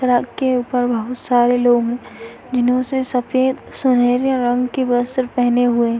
Truck के ऊपर बोहोत सारे लोग है। जिन्होंने सफ़ेद सुनहरे रंग के वस्त्र पेहने हुऐ --